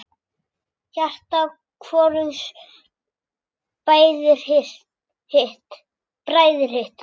Hjarta hvorugs bræðir hitt.